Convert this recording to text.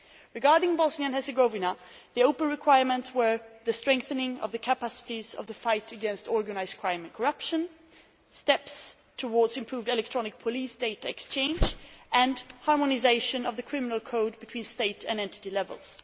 Regarding Bosnia and Herzegovina, the open requirements were the strengthening of the capacities of the fight against organised crime and corruption, steps towards improved electronic police data exchange, and harmonisation of the criminal code between state and entity levels.